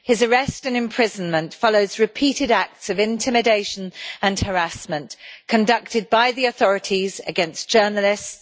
His arrest and imprisonment follows repeated acts of intimidation and harassment, conducted by the authorities against journalists.